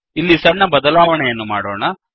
ಇಲ್ಲಿ ಸಣ್ಣ ಬದಲಾವಣೆಯನ್ನು ಮಾಡೋಣ